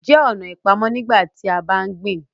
jẹ ọ̀nà ipamọ nígbàtí a bá ń gbìn